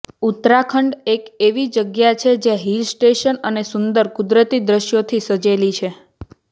ઉત્તરાખંડ એક એવી જગ્યા છે જે હિલ સ્ટેશન અને સુંદર કુદરતી દ્રશ્યોથી સજેલી છે